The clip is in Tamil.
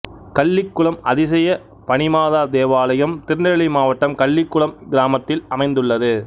கள்ளிகுளம் அதிசய பனிமாதா தேவாலயம் திருநெல்வேலி மாவட்டம் கள்ளிகுளம் கிராமத்தில் அமைந்துள்ளது